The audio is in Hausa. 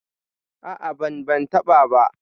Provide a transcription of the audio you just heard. A'a, ban ban taɓa ba.